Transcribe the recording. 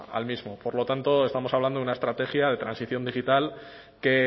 al mismo por lo tanto estamos hablando de una estrategia de transición digital que